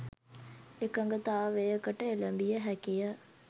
එකඟතාවයකට එළඹිය හැකිය.